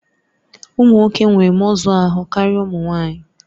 Ụmụ nwoke nwere mọzụ ahụ karịa ụmụ nwanyị